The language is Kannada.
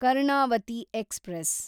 ಕರ್ಣಾವತಿ ಎಕ್ಸ್‌ಪ್ರೆಸ್